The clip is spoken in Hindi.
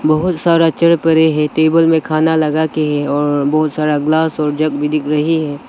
बहुत सारा चेयर पड़े हैं टेबल में खाना लगा के और बहुत सारा ग्लास और जग भी दिख रही है।